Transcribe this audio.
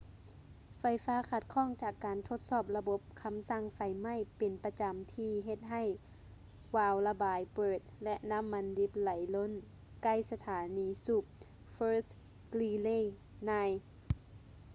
ໄຟຟ້າຂັດຂ້ອງຈາກການທົດສອບລະບົບຄໍາສັ່ງໄຟໄໝ້ເປັນປະຈໍາທີ່ເຮັດໃຫ້ວາວລະບາຍເປີດ ແລະ ນໍ້າມັນດິບໄຫຼລົ້ນໃກ້ສະຖານີສູບ fort greely 9